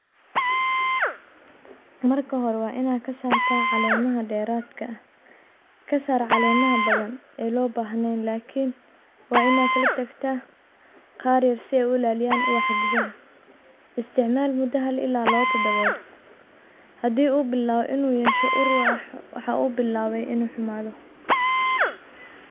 Marka hore waa ina kasarta calemaha deeradka ah . Kasaar calemaha badan ee loo bahnayn lakin waa ina kala tagtaa qaar yar si ulaaliyaan ubaxa gudaha isticmaal mudo hal ila labo tadobood hadii u bilaawo inu yeesho ur waxuu u bilaawe inu xumaado.